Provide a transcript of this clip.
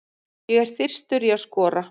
Ég er þyrstur í að skora.